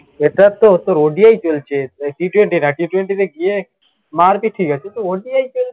এটা তো তোর ODI চলছে T twenty না T twenty তে গিয়ে মারবে ঠিকাছে তুই তো ODI তে